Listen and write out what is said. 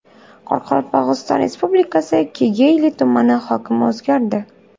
Qoraqalpog‘iston Respublikasi Kegeyli tumani hokimi o‘zgardi.